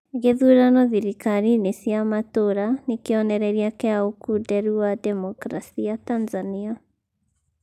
Gĩthurano thirikari-inĩ cĩa matũra nĩ kĩonereria kĩa ũkuderu wa Demkrasia Tanzania